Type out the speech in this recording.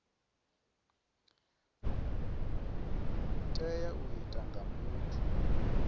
tea u itwa nga muthu